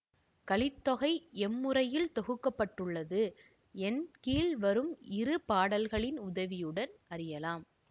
கலித்தொகை எம்முறையில் தொகுக்க பட்டுள்ளது என் கீழ் வரும் இரு பாடல்களின் உதவியுடன் அறியலாம்